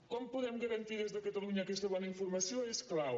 com podem garantir des de catalunya aquesta bona informació és clau